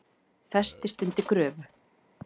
Festist undir gröfu